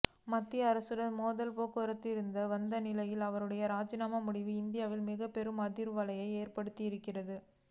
மத்திய அரசுடன் மோதல் போக்கு இருந்து வந்த நிலையில் அவருடைய ராஜினாமா முடிவு இந்தியாவில் மிகப்பெரும் அதிர்வலையை ஏற்படுத்தியிருக்கிறது